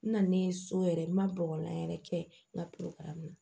N nalen so yɛrɛ n ma bɔgɔlan yɛrɛ kɛ n ka kari la